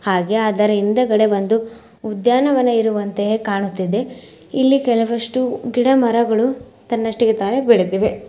ಹಾಗೆ ಅದರ ಹಿಂದಗಡೆ ಒಂದು ಉದ್ಯಾನವನ ಇರುವಂತೆ ಕಾಣಿಸುತ್ತಿದೆ. ಇಲ್ಲಿ ಕೆಲವಷ್ಟು ಗಿಡ-ಮರಗಳು ತನ್ನಷ್ಟಕ್ಕೆ ತಾನೇ ಬೆಳೆದಿವೆ.